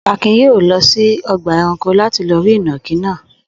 Akin yóò lọ sí ọgbà-ẹranko láti lọ rí ìnàkí náà.